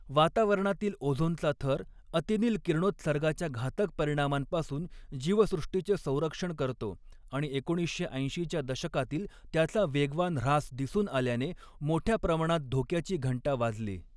वातावरणातील ओझोनचा थर अतिनील किरणोत्सर्गाच्या घातक परिणामांपासून जीवसृष्टीचे संरक्षण करतो, आणि एकोणीसशे ऐंशी च्या दशकातील त्याचा वेगवान ऱ्हास दिसून आल्याने मोठ्या प्रमाणात धोक्याची घंटा वाजली.